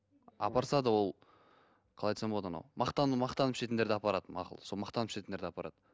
апарса да ол қалай айтсам болады анау мақтану мақтанып ішетіндерді апарады мақұл сол мақтанып ішетіндерді апарады